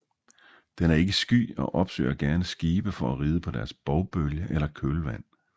Den er ikke sky og opsøger gerne skibe for at ride på deres bovbølge eller kølvand